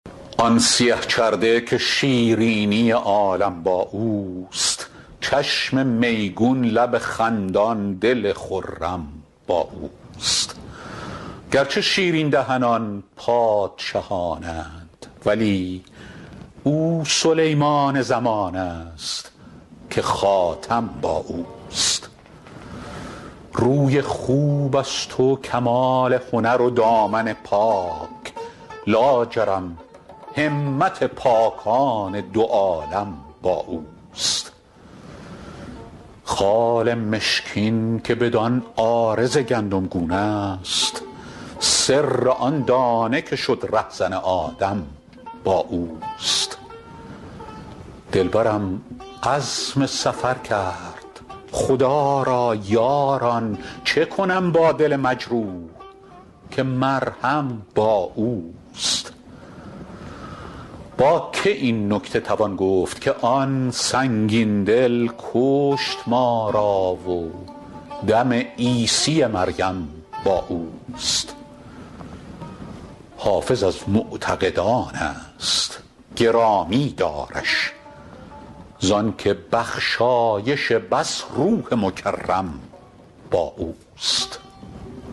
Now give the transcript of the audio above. آن سیه چرده که شیرینی عالم با اوست چشم میگون لب خندان دل خرم با اوست گرچه شیرین دهنان پادشهان اند ولی او سلیمان زمان است که خاتم با اوست روی خوب است و کمال هنر و دامن پاک لاجرم همت پاکان دو عالم با اوست خال مشکین که بدان عارض گندمگون است سر آن دانه که شد رهزن آدم با اوست دلبرم عزم سفر کرد خدا را یاران چه کنم با دل مجروح که مرهم با اوست با که این نکته توان گفت که آن سنگین دل کشت ما را و دم عیسی مریم با اوست حافظ از معتقدان است گرامی دارش زان که بخشایش بس روح مکرم با اوست